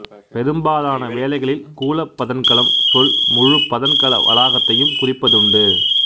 பெரும்பாலான வேளைகளில் கூலப் பதன்கலம் சொல் முழுப் பதன்கல வளாகத்தையும் குறிப்பதுண்டு